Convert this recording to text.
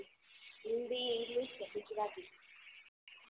Hindi English કે ગુજરાતી